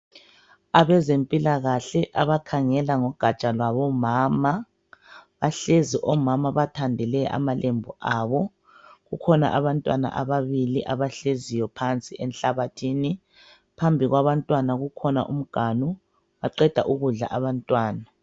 Abezempilakahle abakhangela ngogatsha lwabomama bahlezi omama bathandele amalembu abo. Kukhona abantwana ababili abahleziyo phansi enhlabathini phambili kwabantwana kukhona umganu baqeda ukudla abantwana.